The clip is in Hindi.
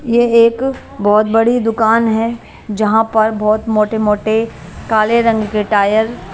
यह एक बहुत बड़ी दुकान है जहां पर बहुत मोटे मोटे काले रंग के टायर --